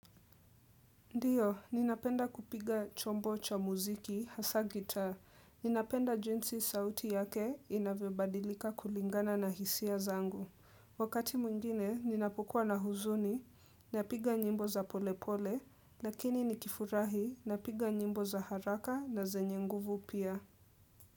Ndiyo, ninapenda kupiga chombo cha muziki, hasa guitar. Ninapenda jinsi sauti yake inavyo badilika kulingana na hisia zangu. Wakati mwngine, ninapukuwa na huzuni, napiga nyimbo za pole pole, lakini nikifurahi, napiga nyimbo za haraka na zenye nguvu pia.